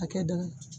Hakɛ dɔ